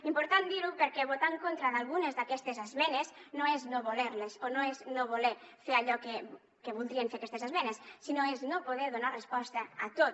important dir ho perquè votar en contra d’algunes d’aquestes esmenes no és no voler les o no és no voler fer allò que voldrien fer aquestes esmenes sinó que és no poder donar resposta a tot